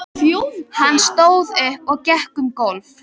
Hann stóð upp og gekk um gólf.